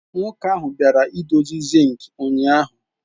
Nwoke ahụ bịara idozi zinc ụnyaahụ.